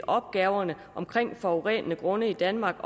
opgaverne med forurenede grunde i danmark